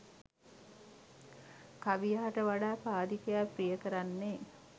කවියට වඩා පාඨකයා ප්‍රිය කරන්නේ